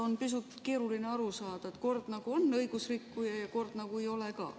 On pisut keeruline aru saada, et kord nagu on õigusrikkuja ja kord nagu ei ole ka.